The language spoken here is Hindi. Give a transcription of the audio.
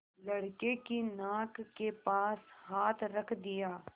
लड़के की नाक के पास हाथ रख दिया